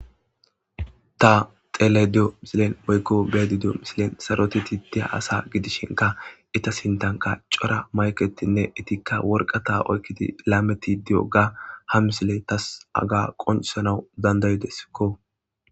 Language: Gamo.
ta xelashe diyo misilen woykko beedi di7o misilen saroteti dea asa gidishinka ita sintanka cora mayketinne itikka worqa ta oykkidi laameti di7o ga ha misile tas aga qonsanau dandaydeskko